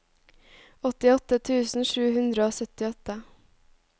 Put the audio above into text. åttiåtte tusen sju hundre og syttiåtte